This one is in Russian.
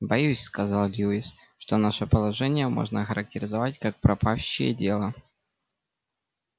боюсь сказал льюис что наше положение можно охарактеризовать как пропащее дело